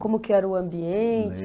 Como que era o ambiente?